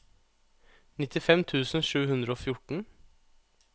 nittifem tusen sju hundre og fjorten